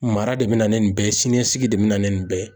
Mara de bina ni nin bɛɛ ye siniɲɛsigi de bina ni nin bɛɛ ye